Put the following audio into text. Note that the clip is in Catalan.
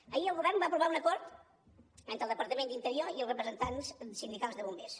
ahir el govern va aprovar un acord entre el departament d’interior i els representants sindicals de bombers